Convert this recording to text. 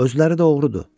Özləri də oğrudur.